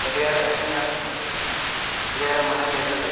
ಗಡಿಯಾರ ಹೆಂಗಂದ್ರೆ ಗಡಿಯಾರ ಮನೇಲಿ ಇರ್ಲೇಬೇಕು.